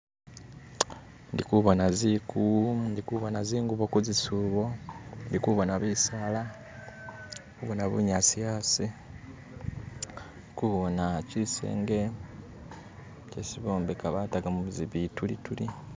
ndikubona ziku ndikubona zingubo kuzisubo ndikubona bisaala ndikubona bunyasi asi ndikubona kyisenge kyesi bombeka batamu bitulituli